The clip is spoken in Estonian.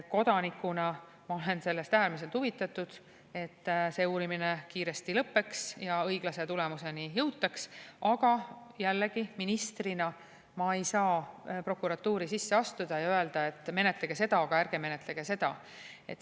Kodanikuna ma olen sellest äärmiselt huvitatud, et see uurimine kiiresti lõppeks ja õiglase tulemuseni jõutaks, aga jällegi, ministrina ma ei saa prokuratuuri sisse astuda ja öelda, et menetlege seda, aga ärge menetlege seda.